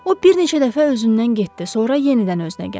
O bir neçə dəfə özündən getdi, sonra yenidən özünə gəldi.